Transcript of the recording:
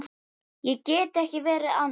Ég get ekki verið annað.